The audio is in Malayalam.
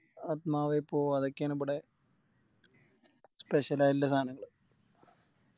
ആത്മാവേ പോ അതൊക്കെയാണിബിടെ Special ആയിട്ടില്ല സാനള്ളേ